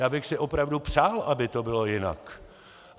Já bych si opravdu přál, aby to bylo jinak.